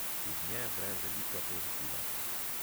Iz nje vre velika pozitiva.